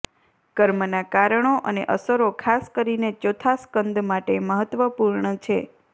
કર્મના કારણો અને અસરો ખાસ કરીને ચોથા સ્કંદ માટે મહત્વપૂર્ણ છે